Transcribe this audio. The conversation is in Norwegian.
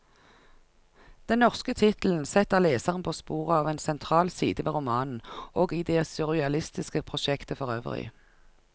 Den norske tittelen setter leseren på sporet av en sentral side ved romanen, og i det surrealistiske prosjektet forøvrig.